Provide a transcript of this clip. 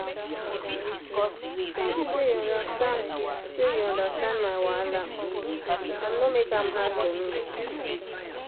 thank you say you understand say you understand my wahala and no make am hard for me.